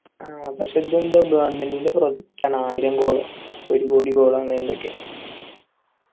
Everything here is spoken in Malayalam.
ആ പക്ഷെ ഇതെന്താ government ൻ്റെ project ആണ് ആയിരം goal ഓ ഒരുകോടി goal ഒ അങ്ങനെയെന്തൊക്കെ